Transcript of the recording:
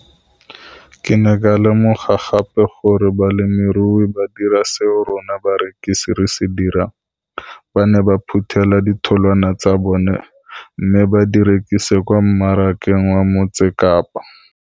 Ke ne ka lemoga gape gore balemirui ba dira seo rona barekisi re se dirang - ba ne ba phuthela ditholwana tsa bona mme ba di rekisa kwa marakeng wa Motsekapa.